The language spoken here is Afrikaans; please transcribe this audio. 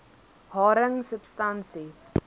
haring substansie l